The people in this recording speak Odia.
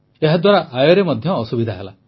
ଏହାଦ୍ୱାରା ଆୟରେ ମଧ୍ୟ ଅସୁବିଧା ହେଲା